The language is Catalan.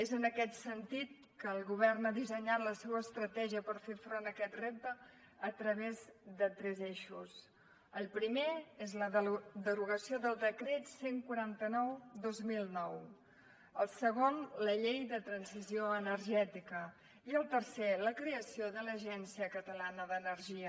és en aquest sentit que el govern ha dissenyat la seva estratègia per fer front a aquest repte a través de tres eixos el primer és la derogació del decret cent i quaranta set dos mil nou el segon la llei de transició energètica i el tercer la creació de l’agència catalana d’energia